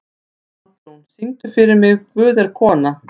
Baldrún, syngdu fyrir mig „Guð er kona“.